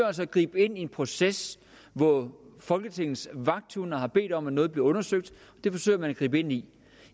altså at gribe ind i en proces hvor folketingets vagthunde har bedt om at noget bliver undersøgt det forsøger man at gribe ind i